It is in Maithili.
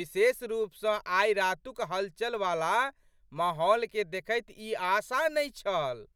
विशेष रूप सँ आइ रातुक हलचल वाला माहौलकेँ देखैत ई आशा नहि छल।